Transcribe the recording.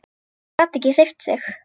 Gat ekki hreyft sig.